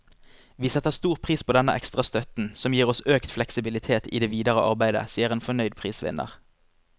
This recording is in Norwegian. Vi setter stor pris på denne ekstra støtten, som gir oss økt fleksibilitet i det videre arbeidet, sier en fornøyd prisvinner.